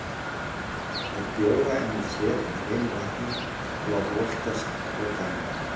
Legg bjóra enn í ker með hreinu vatni og lát volkast tvo daga.